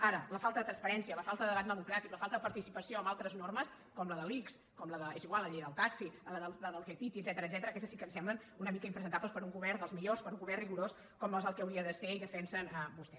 ara la falta de transparència la falta de debat democràtic la falta de participació amb altres normes com la de l’ics com la de és igual la llei del taxi la del ctti i etcètera aquestes sí que em semblen una mica impresentables per un govern dels millors per un govern rigorós com és el que hauria de ser i defensen vostès